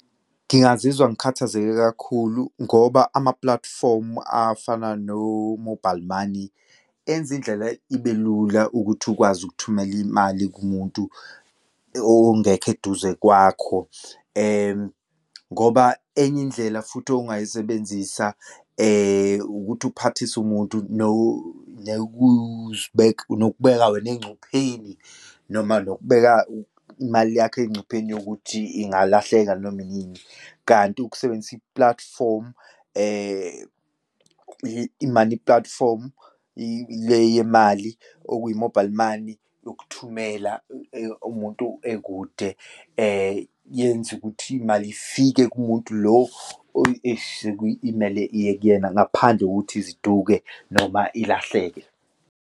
Ngingazizwa ngikhathazeke kakhulu ngoba amapulatifomu afana no-mobile money, enza indlela ibe lula ukuthi ukwazi ukuthumela imali kumuntu, ongekho eduze kwakho ngoba enye indlela futhi ongayisebenzisa ukuthi uphathise umuntu nokuzibeka, nokubeka wena engcupheni, noma nokubeka imali yakho engcupheni yokuthi ingalahleka noma inini. Kanti ukusebenzisa i-platform, i-money platform le yemali, okuyi-mobile money yokuthumela umuntu ekude yenza ukuthi imali ifike kumuntu lo esuke imele iye kuyena ngaphandle kokuthi iziduke noma ilahleke.